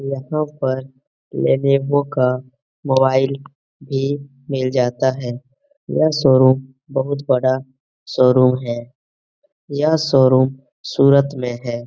यहाँ पर लेनोवो का मोबाईल भी मिल जाता है। यह शो-रूम बहुत बड़ा शो-रूम है यह शो-रूम सूरत में है।